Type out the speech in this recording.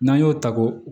N'an y'o ta ko